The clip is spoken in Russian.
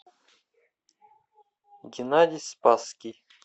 геннадий спасский